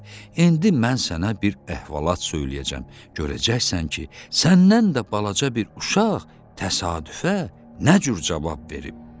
İndi mən sənə bir əhvalat söyləyəcəm, görəcəksən ki, səndən də balaca bir uşaq təsadüfə nə cür cavab verib.